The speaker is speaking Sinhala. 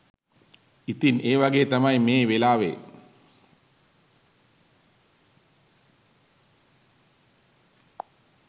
ඉතින් ඒ වගේ තමයි මේ වෙලාවේ